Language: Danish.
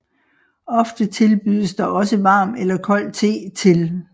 Ofte tilbydes der også varm eller kold te til